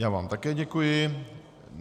Já vám také děkuji.